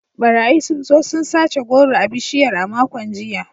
Barayi sun zo sun sace goro a bishiyar a makon jiya.